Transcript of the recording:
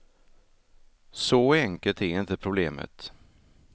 Så enkelt är inte problemet.